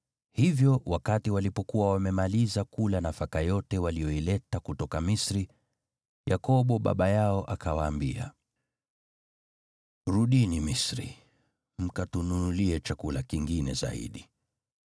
Hivyo wakati walikuwa wamemaliza kula nafaka yote waliyoileta kutoka Misri, Yakobo baba yao akawaambia, “Rudini Misri mkatununulie chakula kingine zaidi.”